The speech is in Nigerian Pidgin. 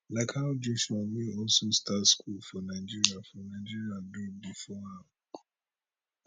like how joshua wey also start school for nigeria for nigeria do bifor am